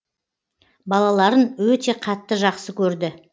балаларын өте қатты жақсы көрді